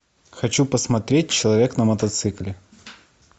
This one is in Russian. хочу посмотреть человек на мотоцикле